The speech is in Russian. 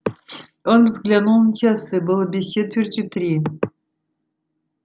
он взглянул на часы было без четверти три